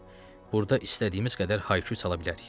Burada istədiyimiz qədər hay küy sala bilərik.